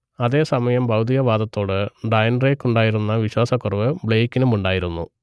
അതേസമയം ഭൗതികവാദത്തോട് ഡാന്റേക്കുണ്ടായിരുന്ന വിശ്വാസക്കുറവ് ബ്ലെയ്ക്കിനുമുണ്ടായിരുന്നു